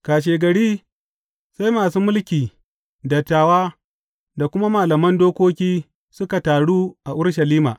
Kashegari, sai masu mulki, dattawa da kuma malaman dokoki suka taru a Urushalima.